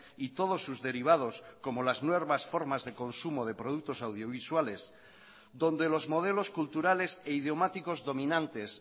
y todos sus derivados como las nuevas formas de consumo de productos audiovisuales donde los modelos culturales e idiomáticos dominantes